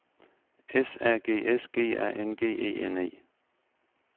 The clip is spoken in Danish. S A G S G A N G E N E